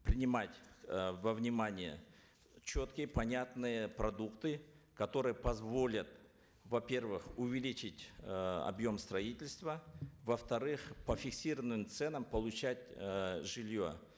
принимать э во внимание четкие понятные продукты которые позволят во первых увеличить э объем строительства во вторых по фиксированным ценам получать э жилье